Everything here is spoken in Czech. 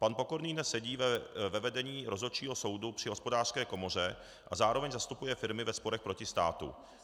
Pan Pokorný dnes sedí ve vedení Rozhodčího soudu při Hospodářské komoře a zároveň zastupuje firmy ve sporech proti státu.